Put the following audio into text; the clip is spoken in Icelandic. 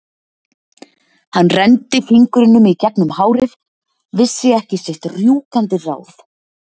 Hann renndi fingrunum í gegnum hárið, vissi ekki sitt rjúkandi ráð.